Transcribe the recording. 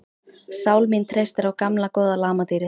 Sál mín treystir á gamla góða lamadýrið.